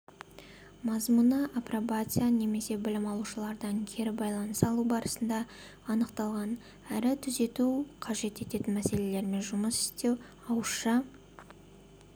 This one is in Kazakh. мазмұны апробация немесе білім алушылардан кері байланыс алу барысында анықталған әрі түзету қажет ететін мәселелермен жұмыс істеу ауызша